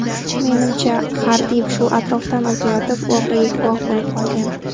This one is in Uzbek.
Menimcha, Xardi shu atrofdan o‘tayotib voqeaga guvoh bo‘lib qolgan.